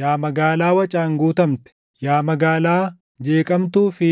Yaa magaalaa wacaan guutamte, yaa magaalaa jeeqamtuu fi